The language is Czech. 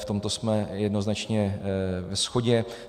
V tomto jsme jednoznačně ve shodě.